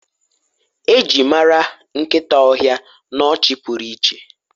eji mara nkita ohia n'ọchị pụrụ iche